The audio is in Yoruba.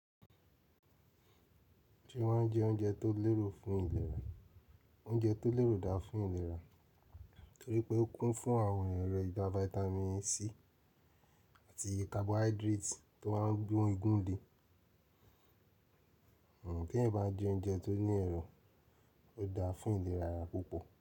Ṣe wàá jẹ oúnjẹ tó lérò fún ìlera, oúnjẹ tó lérò dáa fún ìlera torí pé ó kún fún àwọn èrò ìjà Vitamin C àti carbohydrates tó máa ń gbé igun le. Kí ẹ̀ bá jẹ oúnjẹ tó ní ẹ̀rọ, ó dáa fún ìlera ara púpọ̀.